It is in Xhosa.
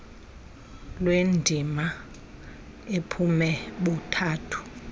lwendima ebume buthathu